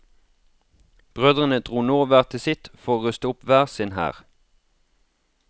Brødrene dro nå hver til sitt for å ruste opp hver sin hær.